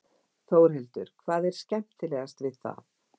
Þórhildur: Hvað er skemmtilegast við það?